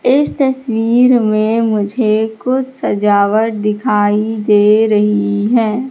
इस तस्वीर में मुझे कुछ सजावट दिखाई दे रही है।